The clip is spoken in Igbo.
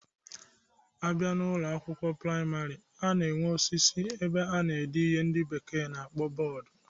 A bịa n'Ụlọ akwụkwọ praịmarị, a na-enwe osisi ebe a na-ede ihe ndị bekee na-akpọ bọọdu